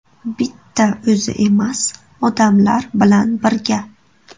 Bitta o‘zi emas, odamlar bilan birga.